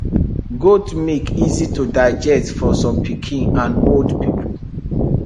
goat milk easy to digest for some pikin and old people